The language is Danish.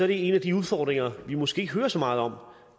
det en af de udfordringer vi måske ikke hører så meget om